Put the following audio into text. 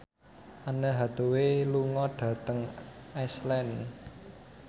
Anne Hathaway lunga dhateng Iceland